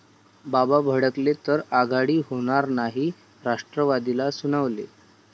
बाबा' भडकले,...तर आघाडी होणार नाही राष्ट्रवादीला सुनावले